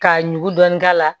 K'a ɲugu dɔɔni k'a la